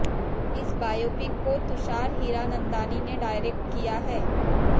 इस बायोपिक को तुषार हीरानंदानी ने डायरेक्ट किया है